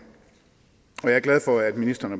jeg er glad for at ministeren